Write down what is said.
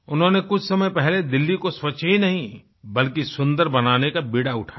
उन्होंने कुछ समय पहले दिल्ली को स्वच्छ ही नहीं बल्कि सुन्दर बनाने का बीड़ा उठाया